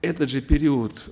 этот же период